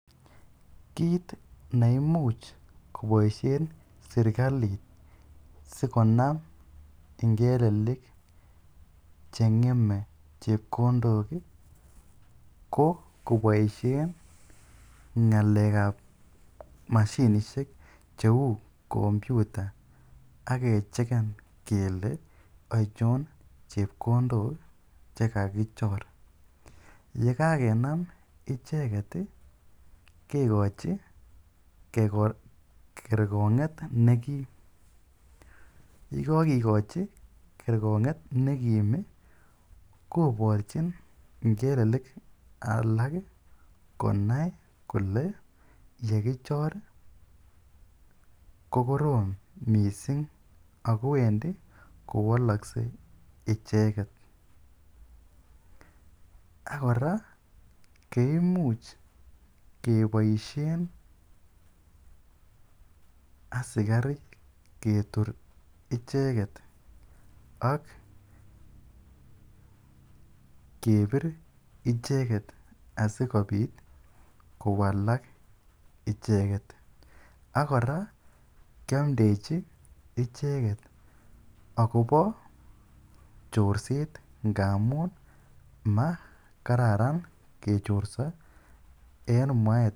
Kiit ne imuch koboisien serkalit sikonam ingelelik che ng'eme chepkondok ko koboisien ng'alekab mashiishek cheu computer ak kechecken kele achon chepkondok che kagichor. Ye kagenam icheget kekochi kerkong'et ne kim. Ye kogikochi kerkong'et ne kim, korchin ngelelik alak konai kole ye kichor kokorom mising ago wendi kowalokse icheget. Ak kora kimuch keboisien asikarik ketur icheget ak kebit icheget asikobit kowalak icheget. Ak kora keamdechi icheget agobo chorset ngamun ma kararan kechorso.